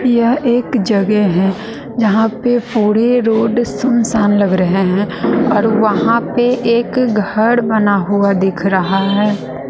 यह एक जगह है यहां पे पूरे रोड सुनसान लग रहे हैं और वहां पे एक घर बना हुआ दिख रहा है।